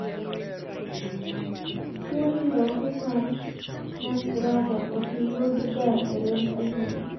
Tuo nyiroke mar nutcracker ok yud ga e remb anyuola